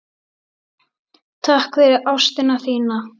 Takk fyrir ástina þína.